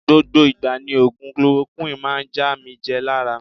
Gbogbo igba ni ogun Kolorokuwini maa n ja mi je lara.